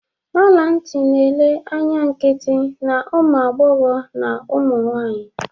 Ọla ntị na-ele anya nkịtị na ụmụ agbọghọ na ụmụ nwanyị